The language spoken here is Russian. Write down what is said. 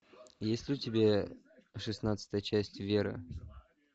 есть ли у тебя шестнадцатая часть вера